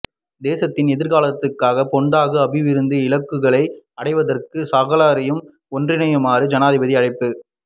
தேசத்தின் எதிர்காலத்திற்காக பேண்தகு அபிவிருத்தி இலக்குகளை அடைவதற்கு சகலரையும் ஒன்றிணையுமாறு ஜனாதிபதி அழைப்பு